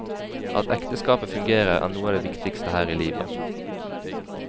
At ekteskapet fungerer er noe av det viktigste her i livet.